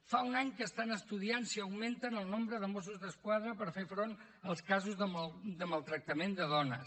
fa un any que estan estudiant si augmenten el nombre de mossos d’esquadra per fer front als casos de maltractament de dones